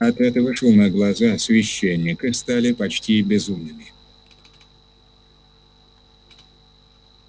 от этого шума глаза священника стали почти безумными